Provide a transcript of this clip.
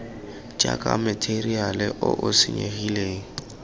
jaaka matheriale o o senyegileng